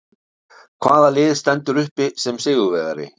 Hvaða lið stendur uppi sem sigurvegari?